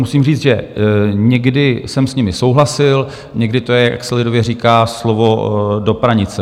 Musím říct, že někdy jsem s nimi souhlasil, někdy to je, jak se lidově říká, slovo do pranice.